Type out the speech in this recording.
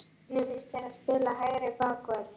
Hvernig finnst þér að spila hægri bakvörð?